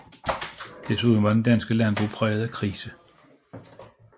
Desuden var det danske landbrug præget af krise